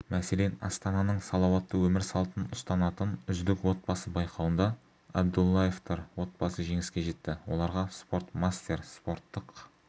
мәселен астананың салауатты өмір салтын ұстанатын үздік отбасы байқауында әбдуллаевтар отбасы жеңіске жетті оларға спортмастер спорттық